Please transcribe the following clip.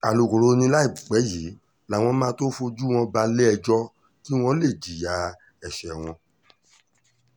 alūkkóró ni láìpẹ́ yìí làwọn máa tóó fojú wọn balẹ̀-ẹjọ́ kí wọ́n lè jìyà ẹ̀ṣẹ̀ wọn